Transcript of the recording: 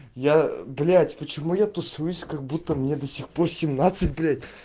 я блять почему я тусуюсь как-будто мне до сих пор семьнадцать блять